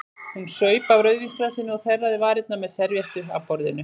Hún saup af rauðvínsglasinu og þerraði varirnar með servíettu af borðinu.